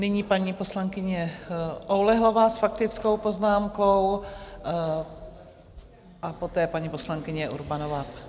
Nyní paní poslankyně Oulehlová s faktickou poznámkou a poté paní poslankyně Urbanová.